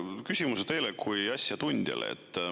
Küsimus teile kui asjatundjale.